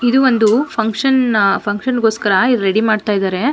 ಇದು ಒಂದು function function ಗೋಸ್ಕರ ಇದು ರೆಡಿ ಮಾಡ್ತಾ ಇದಾರೆ.